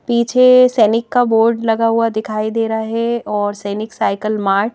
पीछे सैनिक का बोर्ड लगा हुआ दिखाई दे रहा है और सैनिक साइकिल मार्ट --